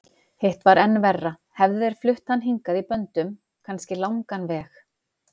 Hitt var enn verra, hefðu þeir flutt hann hingað í böndum, kannski langan veg.